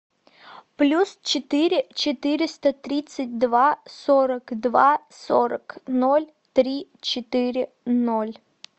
плюс четыре четыреста тридцать два сорок два сорок ноль три четыре ноль